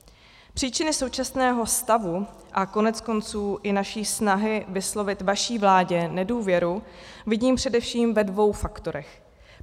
Příčiny současného stavu a koneckonců i naší snahy vyslovit vaší vládě nedůvěru vidím především ve dvou faktorech.